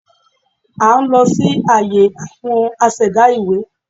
À n lọ sí àyè àwon asẹ̀dá ìwé